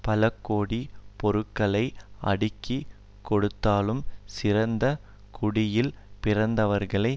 பலகோடிப் பொருள்களை அடுக்கி கொடுத்தாலும் சிறந்த குடியில் பிறந்தவர்கள்